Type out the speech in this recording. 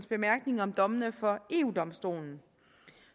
bemærkninger om dommene fra eu domstolen